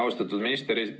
Austatud minister!